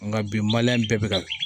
Nka bi maliyɛn bɛɛ bɛ ka